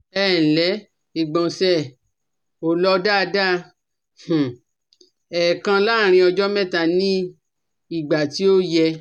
Ẹǹlẹ́, ìgbọ̀nsẹ̀ ò lọ daada - èèkan láàárín ọjọ́ mẹ́ta ní ìgbà tí ò yẹ